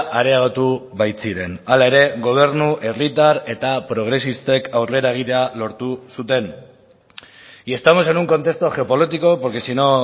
areagotu baitziren hala ere gobernu herritar eta progresistek aurrera egitea lortu zuten y estamos en un contexto geopolítico porque si no